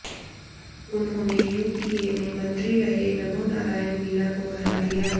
उन्होंने यूपीए में मंत्री रहे नमोनारायण मीणा को हरा दिया